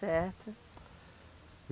Certo.